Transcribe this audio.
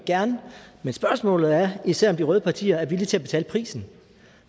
gerne men spørgsmålet er især om de røde partier er villige til at betale prisen